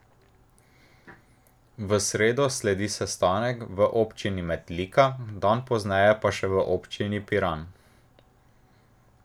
V sredo sledi sestanek v občini Metlika, dan pozneje pa še v občini Piran.